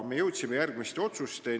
Me jõudsime järgmistele otsustele.